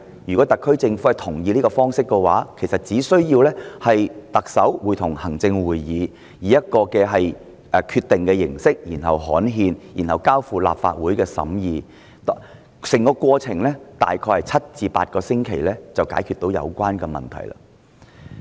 如果特區政府同意，其實只須特首會同行政會議作出決定並刊憲，再交付立法會審議，大概7個至8個星期就可以解決有關問題。